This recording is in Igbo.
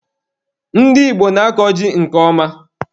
Ndị Igbo na-akọ ji nke ọma.